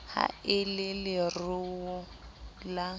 ha e le leruo la